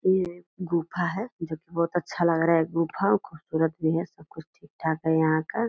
ये गुफा है जो की बहुत अच्छा लग रहा है। गुफा खूबसूरत भी है। सबकुछ ठीक-ठाक है यहाँ का।